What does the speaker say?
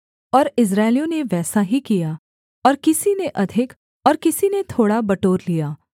और इस्राएलियों ने वैसा ही किया और किसी ने अधिक और किसी ने थोड़ा बटोर लिया